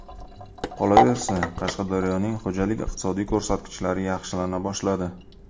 Qolaversa, Qashqadaryoning xo‘jalik-iqtisodiy ko‘rsatkichlari yaxshilana boshladi.